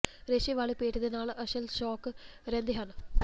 ਰੇਸ਼ੇ ਵਾਲੇ ਪੇਟ ਦੇ ਨਾਲ ਅਸਲ ਸ਼ੌਕ ਰਹਿੰਦੇ ਹਨ